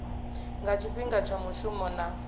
nga tshifhinga tsha mushumo na